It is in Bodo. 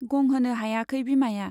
गंहोनो हायाखै बिमाया।